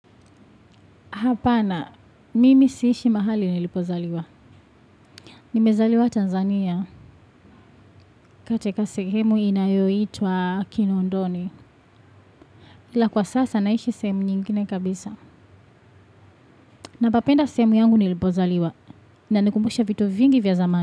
Hapana. Mimi siishi mahali nilipozaliwa. Nimezaliwa Tanzania. Katika sehemu inayoitwa, Kinondoni. Ila kwa sasa, naishi sehemu nyingine kabisa. Napapenda sehemu yangu nilipozaliwa. Inanikumbusha vitu vingi vya zamani.